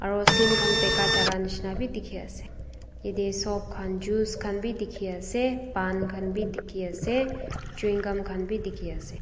aro sim khan bika jaka nishina bi dikhiase yatae sop khan juice khan bidikhiase pan khan bidikhiase chewing gum bidikhiase.